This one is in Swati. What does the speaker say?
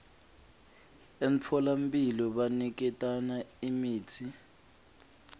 emtfolamphilo baniketana imitsi